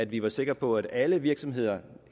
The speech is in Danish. vi var sikre på at alle virksomheder